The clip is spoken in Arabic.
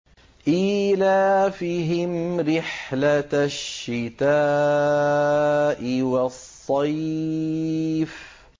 إِيلَافِهِمْ رِحْلَةَ الشِّتَاءِ وَالصَّيْفِ